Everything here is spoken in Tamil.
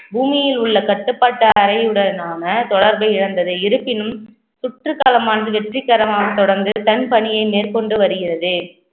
பூமியில் உள்ள கட்டுப்பாட்டு அறையுடனான தொடர்பை இழந்தது இருப்பினும் சுற்றுகாலம் ஆண்டு வெற்றிகரமாக தொடர்ந்து தன் பணியை மேற்கொண்டு வருகிறது